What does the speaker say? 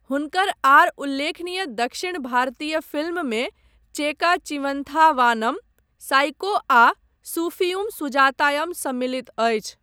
हुनकर आर उल्लेखनीय दक्षिण भारतीय फिल्ममे चेका चिवंथा वानम, साइको आ सूफियुम सुजातायम सम्मलित अछि।